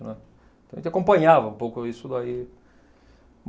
Né. Então a gente acompanhava um pouco isso daí.